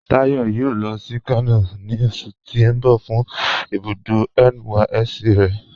Táyọ̀ yóò lọ sí Kano ni oṣù̀ ti n bọ̀ fun ibùdó NYSC rẹ̀